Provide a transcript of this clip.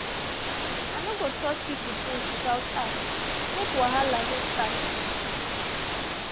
i no go touch pipo things without ask make no wahala start.